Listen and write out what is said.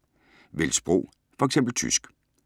Vælg sprog: F.eks. tysk